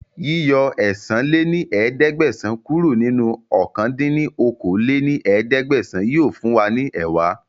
Yíyọ ẹ̀sán lé ní ẹ̀ẹ́dẹ́gbẹ́sán kúrò nínú ọ̀kan dín ní okòó-lé-ní-ẹ̀ẹ́dẹ́gbẹ́sán yìí ó fún wa ní ẹẹ́wá